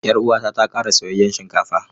Yar uwata ta kara soyayyen shinkafa.